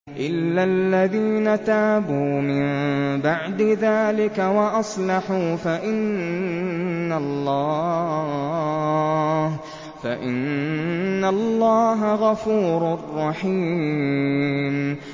إِلَّا الَّذِينَ تَابُوا مِن بَعْدِ ذَٰلِكَ وَأَصْلَحُوا فَإِنَّ اللَّهَ غَفُورٌ رَّحِيمٌ